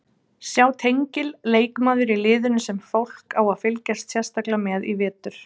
Sjá tengil Leikmaður í liðinu sem fólk á að fylgjast sérstaklega með í vetur?